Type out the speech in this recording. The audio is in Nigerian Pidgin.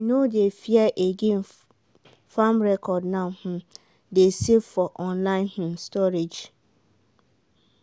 we no dey fear again farm record now um dey safe for online um storage.